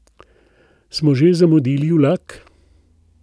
Smo že zamudili vlak?